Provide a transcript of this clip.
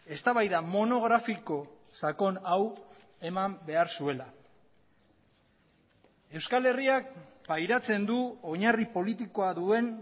eztabaida monografiko sakon hau eman behar zuela euskal herriak pairatzen du oinarri politikoa duen